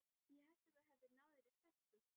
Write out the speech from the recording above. Ég hélt að þú hefðir náð þér í stelpu.